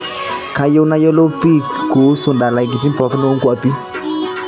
kayieu nayolou pii kuusu ndalaitin pooki onkuapi